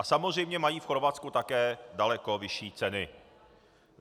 A samozřejmě mají v Chorvatsku také daleko vyšší ceny.